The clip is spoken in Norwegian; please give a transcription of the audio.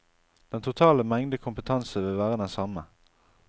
Den totale mengde kompetanse vil være den samme.